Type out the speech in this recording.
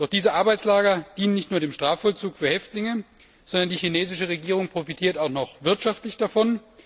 Diese Arbeitslager dienen nicht nur dem Strafvollzug für Häftlinge, sondern die chinesische Regierung profitiert auch noch wirtschaftlich davon.